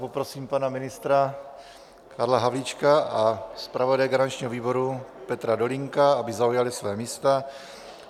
Poprosím pana ministra Karla Havlíčka a zpravodaje garančního výboru Petra Dolínka, aby zaujali svá místa.